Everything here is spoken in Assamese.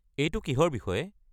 এইটো কিহৰ বিষয়ে?